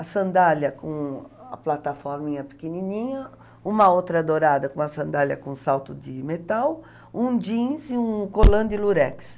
a sandália com a plataforminha pequenininha, uma outra dourada com a sandália com salto de metal, um jeans e um colã de lurex.